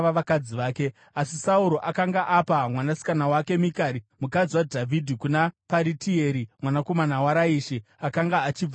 Asi Sauro akanga apa mwanasikana wake Mikari, mukadzi waDhavhidhi, kuna Paritieri mwanakomana waRaishi, akanga achibva kuGarimi.